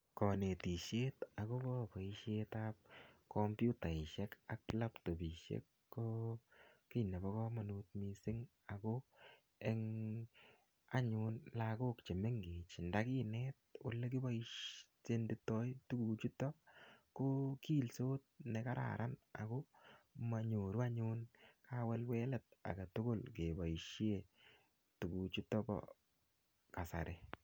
Konetisiet agobo boisietab kompuitasiek ak laptopisiek ko kiy nebo kamanut mising ago en anyun lagok chemengech ndakinet olekiboisiondoi tuguchuto ko kiilsot ne kararan ago manyoru anyun kawelwelet agetugul ngeboisie tuguchuto bo kasari.